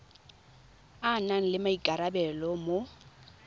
a nang le maikarabelo mo